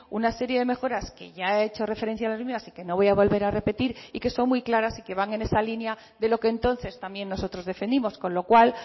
una serie de mejoras que ya he hecho referencia a las mismas y que no voy a volver a repetir y que son muy claras y que van en esa línea de lo que entonces también nosotros defendimos con lo cual